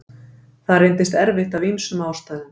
Það reyndist erfitt af ýmsum ástæðum.